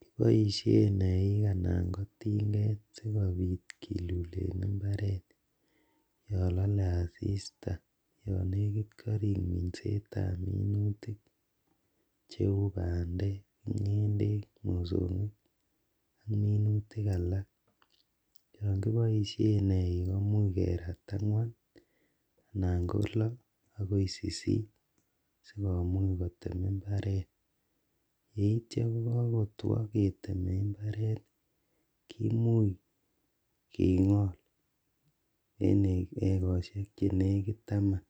Kiboisien Eik anan ko Tinget sikobit kilulen imbaret yolole asiista yon nekit korik minsetab minutik cheu mandek, ng'endek, mosong'ik ak minutik ala yon kiboishen Eik komuch kerat angwan anan ko lo akoi sisit sikomuch kotem imbaret ,yeityo kokotwo ketem imbaret kimuch king'ol en ekosiek chenekit taman